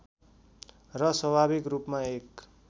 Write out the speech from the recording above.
र स्वाभाविक रूपमा एक